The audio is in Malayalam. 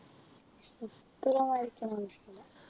ചിത്രമെല്ലാം വരക്കുന്നതിഷ്ടമല്ല